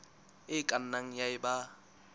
e ka nnang ya eba